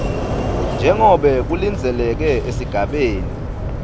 njengobe kulindzeleke esigabeni